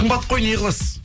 қымбат қой не қыласыз